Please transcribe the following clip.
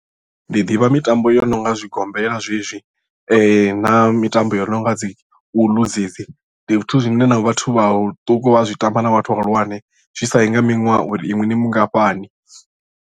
Ndi ḓivha mitambo yo no nga zwigombela zwezwi na mitambo yo no nga dzi uḽu dzedzi ndi zwithu zwine na vhathu vhaṱuku vha zwi tamba na vhathu vhahulwane zwi sa i nga miṅwaha uri inwi ni mungafhani.